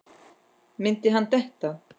Myndi hann detta?